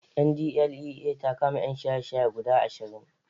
NDLEA ta kama ƴan shaye-shaye guda ashirin